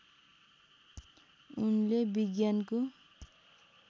उनले विज्ञानको